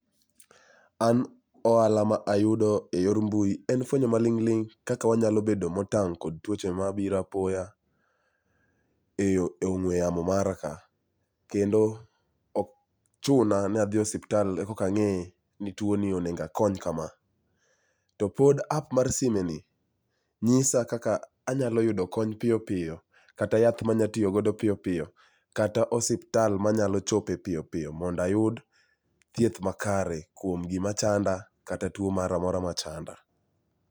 An ohala ma ayudo e yor mbui en fwenyo maling ling kaka wanya bedo motang kod tuoche mabiro apoya e ongwe yamo mara ka, kendo ok chuna ni adhi e osiptal korka ang'e ni tuoni onego akony kama. Topod app mar sime ni nyisa kaka anya yudo kony piyo piyo kata yath manya tiyo go piyo piyo kata osiptal manyalo chope piyo piyo mondo ayud thieth makare kuom gima chanda kata tuo moro amora machanda